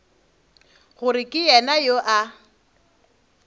gore ke yena yo a